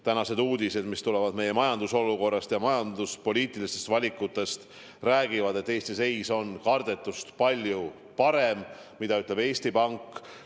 Tänased uudised meie majandusolukorrast ja majanduspoliitilistest valikutest räägivad, et Eesti seis on kardetust palju parem, nagu ütleb Eesti Pank.